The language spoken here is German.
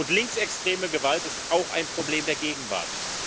Und linksextreme Gewalt ist auch ein Problem der Gegenwart.